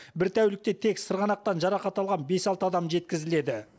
бір тәулікте тек сырғанақтан жарақат алған бес алты адам жеткізіледі